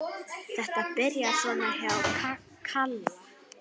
Þetta byrjaði svona hjá Kalla.